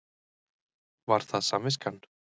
Var það samviskan?